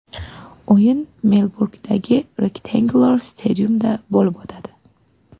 O‘yin Melburndagi Rectangular Stadium’da bo‘lib o‘tadi.